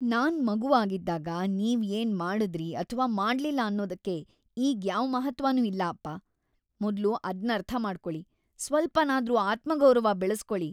ನಾನ್ ಮಗು ಆಗಿದ್ದಾಗ ನೀವ್ ಏನ್ ಮಾಡುದ್ರಿ ಅಥ್ವಾ ಮಾಡ್ಲಿಲ್ಲ ಅನ್ನೋದಕ್ಕೆ ಈಗ್‌ ಯಾವ್‌ ಮಹತ್ತ್ವನೂ ಇಲ್ಲ ಅಪ್ಪ. ಮೊದ್ಲು ಅದ್ನರ್ಥ ಮಾಡ್ಕೊಳಿ, ಸ್ವಲ್ಪನಾದ್ರೂ ಆತ್ಮಗೌರವ ಬೆಳೆಸ್ಕೊಳಿ!